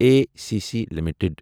A C C limited